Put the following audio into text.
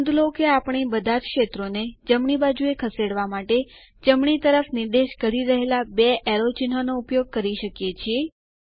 નોંધ લો કે આપણે બધાજ ક્ષેત્રોને જમણી બાજુએ ખસેડવા માટે જમણી તરફ નિર્દેશ કરી રહેલા બે એરો ચિન્હનો ઉપયોગ કરી શકીએ છીએ